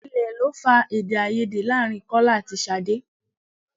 Ilẹ̀ lọ fà Èdèáiyedé láàrin Kọ́lá àti Ṣadé.